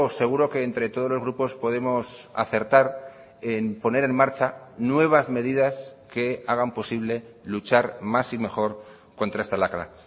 seguro que entre todos los grupos podemos acertar en poner en marcha nuevas medidas que hagan posible luchar más y mejor contra esta lacra